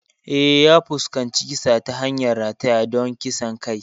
Eh, ya fuskanci kisa ta hanyar rataya don kisan kai.